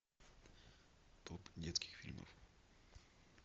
топ детских фильмов